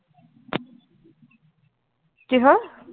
কি হল?